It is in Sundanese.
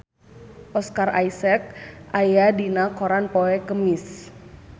Oscar Isaac aya dina koran poe Kemis